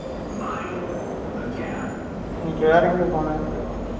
இன்னிக்கு வேற எங்க போன